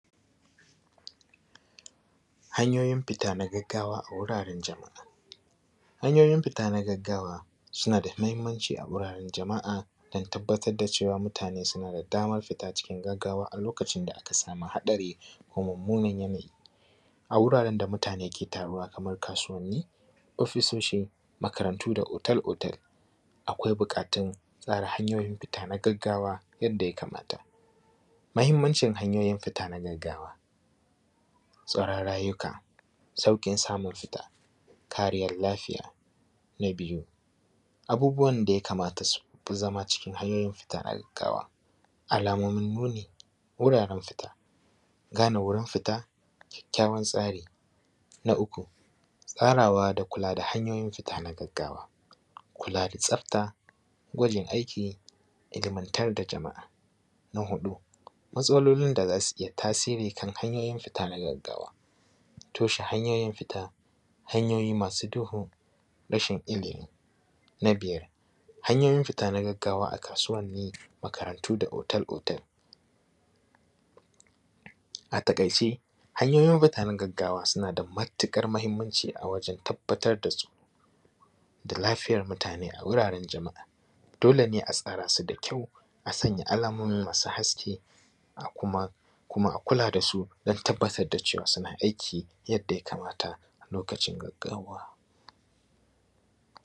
Hanyoyin fita na gaggawa a wuraren jama'a. Hanyoyin fita na gaggawa suna da muhimmanci a wuraren jama'a don tabbatar da cewa mutane suna da damar fita na gaggawa a lokacin da aka samu haɗari ko mummunan yanayi a wuraren da mutane ke taruwa kamar kasuwanni, ofisoshi, makarantu da otel otel. Akwai buƙatan tsara hanyoyin fita na gaggawa yanda yakamata. Muhimmancin hanyoyin fita na gaggawa. Tsaron rayuka, sauƙin samun fita, kariyar lafiya. Na biyu, abubuwan da yakamata su fi zama cikin hanyoyin fita na gaggawa. Alamomin nuni wuraren fita, gane wurin fita, kyakkyawan tsari,. Na uku tsarawa da kula da hanyoyin fita na gaggawa, kula da tsafta, gwajin aiki, ilmantar da jama'a. Na huɗu matsalolin da za su iya tasiri kan hanyoyin fita na gaggawa, toshe hanyoyin fita, hanyoyi masu duhu, rashin ilimi. Na biyar hanyoyin fita na gaggawa a kasuwanni, makarantu da otel otel. A taƙaice hanyoyin fita na gaggawa suna da matukar muhimmanci a wajen tabbatar da su da lafiyar mutane a wuraren jama'a, dole ne a tsara su da kyau a sanya alamomi masu haske a kuma, kuma a kula da su dan tabbatar da cewa suna aiki yanda yakamata a lokacin gaggawa.